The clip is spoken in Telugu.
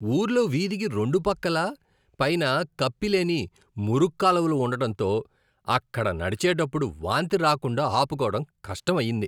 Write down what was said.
ఊర్లో వీధికి రెండు పక్కలా పైన కప్పిలేని మురుగుకాలువలు ఉండడంతో, అక్కడ నడిచేటప్పుడు వాంతి రాకుండా ఆపుకోవడం కష్టమయ్యింది.